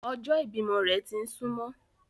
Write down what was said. Ọjọ́ ìbímọ rẹ̀ ti ń súmọ́